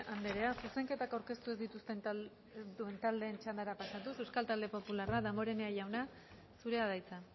andrea zuzenketak aurkeztu ez dituzten taldeen txandara pasatuz euskal talde popularra damborenea jauna zurea da hitza